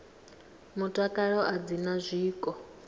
mutakalo a dzi na zwiko